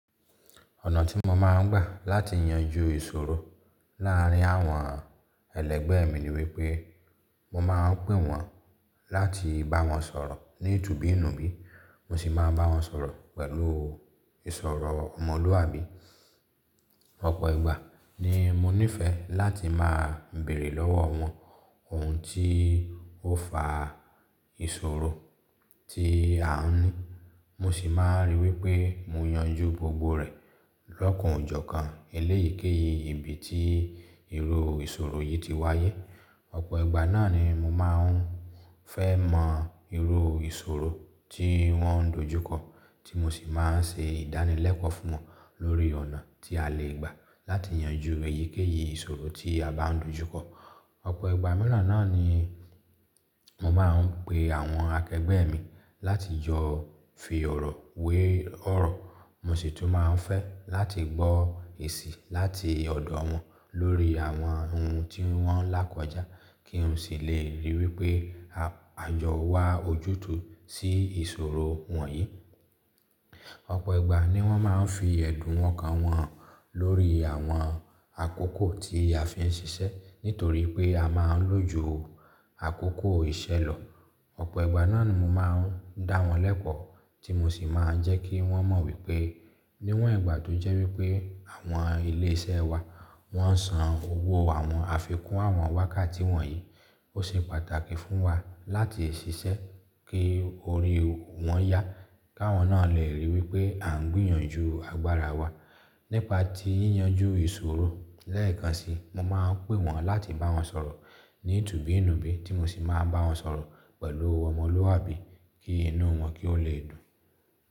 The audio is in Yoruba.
Ọ̀nà tí mo máa ń gbà láti yanjú ìṣòro láàárín àwọn ẹlẹgbẹ́ mi ni wípé mo máa ń pè wọ́n láti bá wọn sọ̀rọ̀ ní ìtubú ìnùbí, mo sì máa ń bá wọn sọ̀rọ̀ pẹ̀lú ìsọ̀rọ̀ ọmọlúàbí. Ọ̀pọ̀ ìgbà ni mo nífẹ̀ẹ́ láti máa bèrè lọ́wọ́ wọ́n ohun tí ó fa ìṣòro tí à ń ní, mo sì máa ríi wípé mo yanjú gbogbo rẹ̀ lọ́kùn ijókan eléyíkéyìí ibi tí irú ìṣòro yìí ti wáyé. Ọ̀pọ̀ ìgbà náà ni mo máa ń fẹ́ mọ irú ìṣòro tí wọ́n dojúkọ, tí mo sì máa ń ṣe ìdánilẹ́kọ̀ọ́ fún wọn lórí ọ̀nà tí a lè gbà láti yanjú èyíkéyìí ìṣòro tí a bá dojúkọ. Ọ̀pọ̀ ìgbà mìíràn náà ni mo máa ń pe àwọn akẹgbẹ́ mi láti yọ fíí ọ̀rọ̀ wé ọ̀rọ̀, mo sì tún máa ń fẹ́ láti gbọ́ èsì láti ọ̀dọ̀ wọn lórí àwọn ohun tí wọ́n lákójá kí n sì lè ríi wípé á àjọ wa ojútùú sí ìṣòro wọ̀nyí. Ọ̀pọ̀ ìgbà ni wọ́n máa ń fi ẹ̀dùn wọn ọkan wọn háń lórí àwọn àkókò tí a fi ń ṣiṣẹ́ nítorí pé a máa ń lòjú àkókò ìṣẹ̀lọ. Ọ̀pọ̀ ìgbà náà ni mo máa ń dá wọn lẹ́kọ̀ọ́ tí mo sì máa ń jẹ́ kí wọ́n mọ̀ wípé níwọ̀n ìgbà tó jẹ́ wípé àwọn ilé iṣẹ́ wa, wọ́n san owó àwọn àfikún àwọn wákàtí wọ̀nyí, ó ṣe pàtàkì fún wa láti ṣiṣẹ́ kí orí wọn yá, káwọn náà lè ríi wípé à ń gbìyànjú agbára wa nípa ti yíyanjú ìṣòro. Lẹ́ẹ̀kan si, mo máa ń pè wọ́n láti bá wọn sọ̀rọ̀ ní ìtubú ìnùbí tí mo sì máa ń bá wọn sọ̀rọ̀ pẹ̀lú ọmọlúàbí kí inú wọn kí ó lè dùn.